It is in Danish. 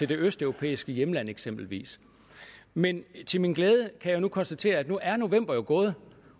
det østeuropæiske hjemland eksempelvis men til min glæde kan jeg jo konstatere at nu er november gået